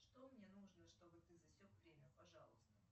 что мне нужно чтобы ты засек время пожалуйста